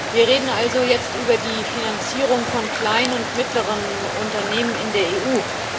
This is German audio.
Wir reden also jetzt über die Finanzierung von kleinen und mittleren Unternehmen in der EU.